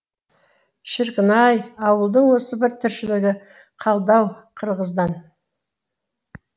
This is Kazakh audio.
шіркін ай ауылдың осы бір тіршілігі қалды ау қырғыздан